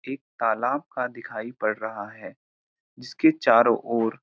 एक तालाब का दिखाई पड़ रहा है जिसके चारों ओर --